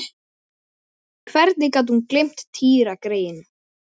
Og stundum blossar það upp í mér.